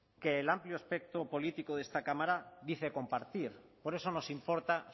que el amplio espectro político de esta cámara dice compartir por eso nos importa